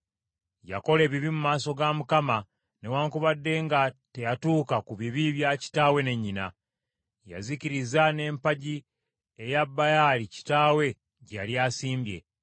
Yakola ebibi mu maaso ga Mukama , newaakubadde nga teyatuuka ku bibi bya kitaawe ne nnyina. Yazikiriza n’empagi eya Baali kitaawe gye yali asimbye.